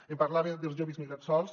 em parlava dels joves migrats sols